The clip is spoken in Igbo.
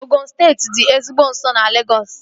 Ogụn steeti dị ezigbo nso na Legọs